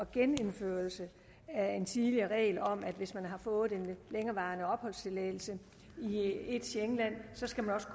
genindførelse af en tidligere regel om at hvis man har fået en længerevarende opholdstilladelse i et schengenland skal man også